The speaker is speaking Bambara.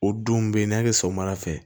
O don bɛ yen ni y'a kɛ sɔgɔmada fɛ